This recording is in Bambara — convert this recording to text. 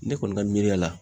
Ne kɔni ka miiri la